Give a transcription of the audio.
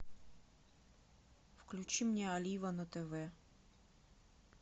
включи мне олива на тв